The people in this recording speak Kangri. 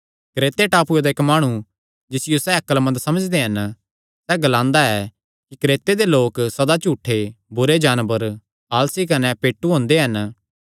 क्रेते टापूये दा इक्क माणु जिसियो सैह़ अक्लमंद समझदे हन सैह़ ग्लांदा ऐ कि क्रेते दे लोक सदा झूठे बुरे जानवर आलसी कने पेटू हुंदे हन